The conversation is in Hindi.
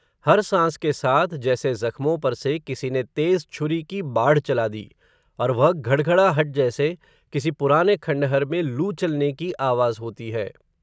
हर सांस के साथ, जैसे ज़ख्मो पर से किसी ने तेज़ छुरी की बाढ चला दी, और वह घड घडा हट जैसे, किसी पुराने खंडहर में लू चलने की आवाज़ होती है